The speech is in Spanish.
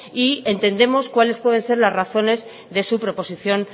y entendemos cuáles pueden ser las razones de su proposición